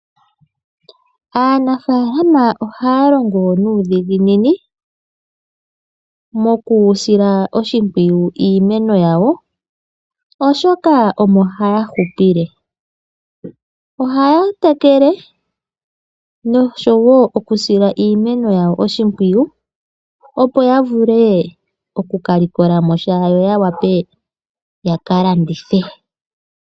Aanafaalama ohaya longo nuudhiginini mokusila oshimpwiyu iimeno yawo, oshoka omo haya hupile. Ohaya tekele nokusila iimeno oshimpwiyu opo yavule okukalikolamo sha, yo yawape yakalandithe.